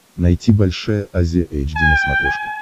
найти большая азия эйч ди на смотрешке